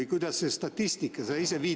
Ja kuidas seda statistikat?